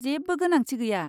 जेबो गोनांथि गैया।